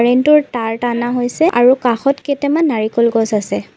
Beam টোৰ তাঁৰ টানা হৈছে আৰু কাষত কেটেমান নাৰিকল গছ আছে।